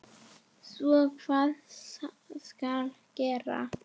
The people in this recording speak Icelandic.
Svo hvað skal gera?